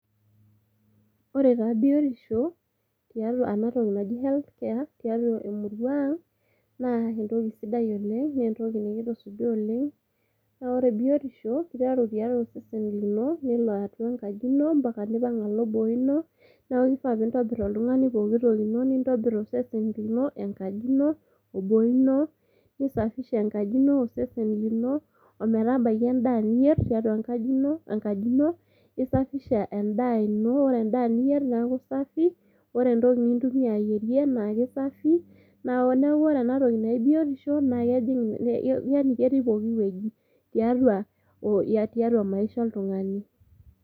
Ore taa biotisho tiatua ena toki naji health care tiatua emurua ang , naa entoki sidai oleng naa entoki nikitusuja oleng .Naa ore biotisho kiteru tiang nelo atua enkaji ino ompaka nipang alo boo ino ,niaku kifaa pintobir oltungani pooki toki ino , nintobir osesen lino, enkaji ino ,oboo ino nisafisha enkaji ino ,osesen lino, ometabaiki endaa niyier tiatua enkaji ino, nisafisha endaa ino, ore endaa niyier neaku safi , ore entoki nintumia ayierie naa kisafi .Niaku ore ena toki naji biotisho yani ketii pooki wueji ,tiatua, tiatua maisha oltungani.